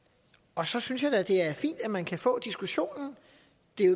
og så synes jeg da det er fint at man kan få diskussionen